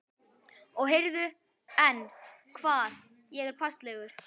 Og heyrðu, en, hvað, er ég passlegur?